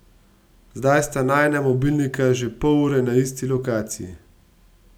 Zdaj sta najina mobilnika že pol ure na isti lokaciji.